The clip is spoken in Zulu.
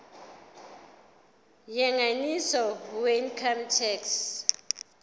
yengeniso weincome tax